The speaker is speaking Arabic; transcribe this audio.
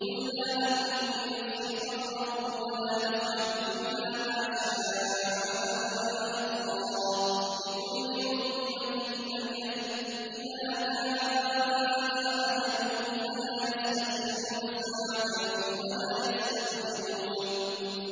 قُل لَّا أَمْلِكُ لِنَفْسِي ضَرًّا وَلَا نَفْعًا إِلَّا مَا شَاءَ اللَّهُ ۗ لِكُلِّ أُمَّةٍ أَجَلٌ ۚ إِذَا جَاءَ أَجَلُهُمْ فَلَا يَسْتَأْخِرُونَ سَاعَةً ۖ وَلَا يَسْتَقْدِمُونَ